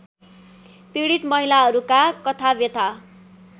पीडित महिलाहरूका कथाव्यथा